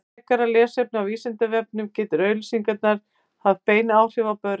frekara lesefni á vísindavefnum geta auglýsingar haft bein áhrif á börn